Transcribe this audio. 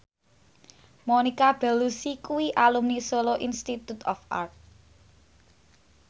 Monica Belluci kuwi alumni Solo Institute of Art